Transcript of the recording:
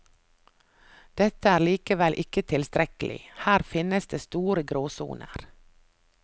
Dette er likevel ikke tilstrekkelig, her finnes det store gråsoner.